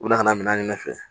U bɛ na ka na minɛn nɔfɛ